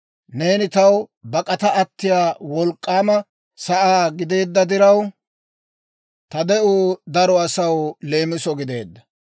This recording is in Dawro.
Neeni taw bak'ata attiyaa wolk'k'aama sa'aa gideedda diraw, ta de'uu daro asaw leemiso gideedda.